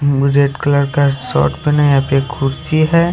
ओ red colour shirt पहना है यहाँ पर खुर्ची है।